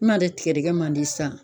N'ale tigɛdɛgɛ man di san.